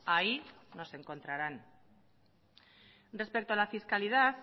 ahí nos encontrarán respecto a la fiscalidad